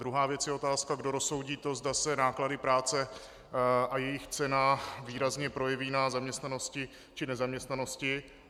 Druhá věc je otázka, kdo rozsoudí to, zda se náklady práce a jejich cena výrazně projeví na zaměstnanosti či nezaměstnanosti.